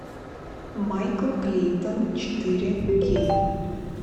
майкл клейтон четыре кей